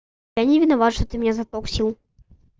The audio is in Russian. я не виноват что ты меня за то укусил